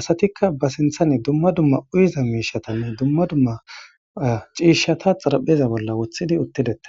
asatikka ba sinthane dumma dumma uyiza miishatanne dumma dumma ciishata xarapheza bolla wothidi uttidete